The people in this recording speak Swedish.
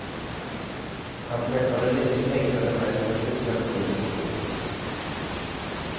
Han träffade de nu häktade männen just när polisen slog till.